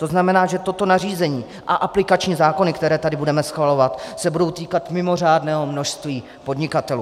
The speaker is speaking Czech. To znamená, že toto nařízení a aplikační zákony, které tady budeme schvalovat, se budou týkat mimořádného množství podnikatelů.